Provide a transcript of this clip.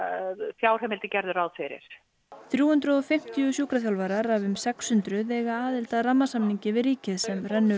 fjárheimildir gerðu ráð fyrir þrjú hundruð og fimmtíu sjúkraþjálfarar af um sex hundruð eiga aðild að rammasamningi við ríkið sem rennur